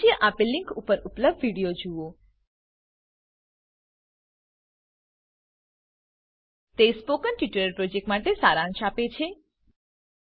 નીચે આપેલ લીંક ઉપર ઉપલબ્ધ વિડીઓ જુઓ httpspoken tutorialorg What is a Spoken tutorial તે સ્પોકન ટ્યુટોરીયલ પ્રોજેક્ટ માટે સારાંશ આપે છે